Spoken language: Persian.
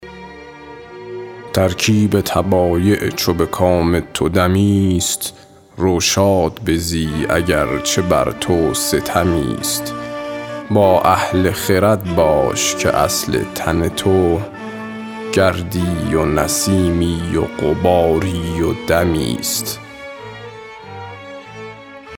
ترکیب طبایع چو به کام تو دمی ست رو شاد بزی اگر چه بر تو ستمی ست با اهل خرد باش که اصل تن تو گردی و نسیمی و غباری و دمی ست